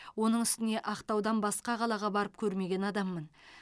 оның үстіне ақтаудан басқа қалаға барып көрмеген адаммын